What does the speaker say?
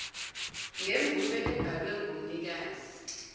ngemvume ebhalwe ngumnikazi